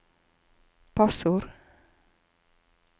passord